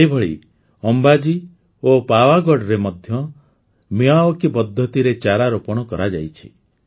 ସେହିଭଳି ଅମ୍ବାଜୀ ଓ ପାୱାଗଢ଼ରେ ମଧ୍ୟ ମିୟାୱାକି ପଦ୍ଧତିରେ ଚାରାରୋପଣ କରାଯାଇଛି